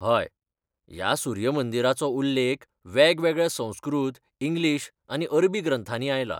हय, ह्या सूर्य मंदिराचो उल्लेख वेगवेगळ्या संस्कृत, इंग्लीश, आनी अरबी ग्रंथांनीं आयला.